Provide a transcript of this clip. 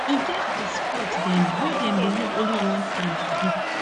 e get di sports dem wey dem dey use only hand do